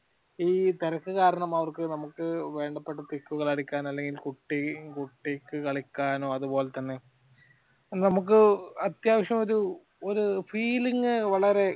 ഈ തിരക്കും കാരണം അവർക് നമ്ക് വേണ്ടപ്പെട്ട pic ഉകൾ എടുക്കാനോ അല്ലെങ്കിൽ കുട്ടി കുട്ടിക്ക് കളിക്കാനോ അതുപോലെത്തന്നെ നമുക്ക് അത്യാവശ്യമൊരു ഒരു feeling വളരെ